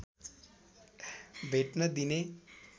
भेट्न दिने